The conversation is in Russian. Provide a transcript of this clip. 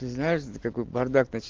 ты знаешь до какой поры